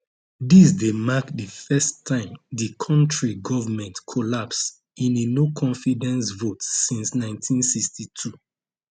dis dey mark di first time di kontri govment collapse in a noconfidence vote since 1962